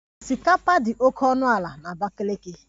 Osikapa dị oke ọnụ ala na Abakiliki